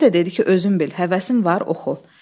Mənə də dedi ki, özün bil, həvəsin var oxu.